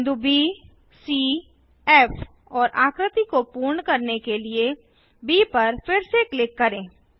बिंदु ब सी फ़ और आकृति को पूर्ण करने के लिए ब पर फिर से क्लिक करें